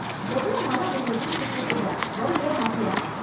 எவ்ளோ நாளா உன்னைய வீட்டுக்கு கூப்பிடுறேன், வருவியா மாட்டியா?